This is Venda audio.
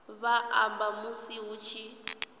vha amba musi hu tshi